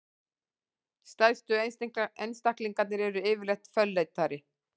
stærstu einstaklingarnir eru yfirleitt fölleitari